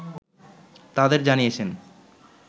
তাদের জানিয়েছেন